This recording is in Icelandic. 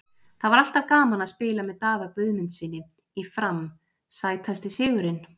Það var alltaf gaman að spila með Daða Guðmundssyni í FRAM Sætasti sigurinn?